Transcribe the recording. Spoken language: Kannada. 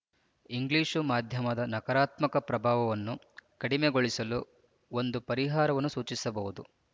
ಇಂಗ್ಲೀಷು ಮಾಧ್ಯಮದ ನಕಾರಾತ್ಮಕ ಪ್ರಭಾವವನ್ನು ಕಡಿಮೆಗೊಳಿಸಲು ಒಂದು ಪರಿಹಾರವನ್ನು ಸೂಚಿಸಬಹುದು